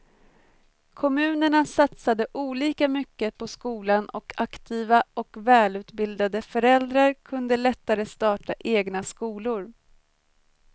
Kommunerna satsade olika mycket på skolan och aktiva och välutbildade föräldrar kunde lättare starta egna skolor.